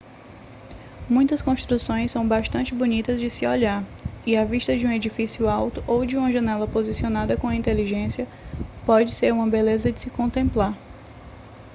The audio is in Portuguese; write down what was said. muitas construções são bastante bonitas de se olhar e a vista de um edifício alto ou de uma janela posicionada com inteligência pode ser uma beleza de se contemplar